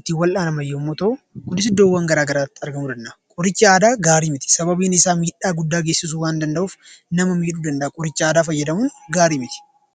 ittiin wal'aanaman yoo ta'u, Kunis iddoowwan garaagaraatti argamuu danda'a. Qorichi aadaa gaarii mitii sababiin isaa miidhaa guddaa geessisuu waan danda'uuf qorichi aadaa gaarii miti.